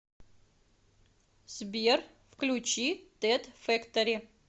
сбер включи тед фэктори